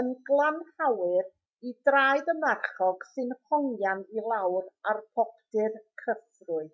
yn gynhalwyr i draed y marchog sy'n hongian i lawr ar boptu'r cyfrwy